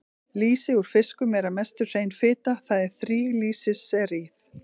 Lýsi úr fiskum er að mestu hrein fita, það er þríglýseríð.